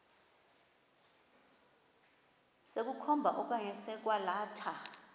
sokukhomba okanye sokwalatha